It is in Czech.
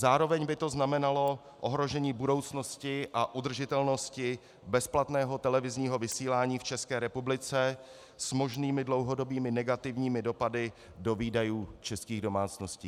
Zároveň by to znamenalo ohrožení budoucnosti a udržitelnosti bezplatného televizního vysílání v České republice s možnými dlouhodobými negativními dopady do výdajů českých domácností.